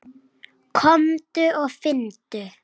Komdu og finndu!